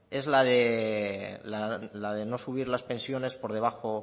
es la de no subir las pensiones por debajo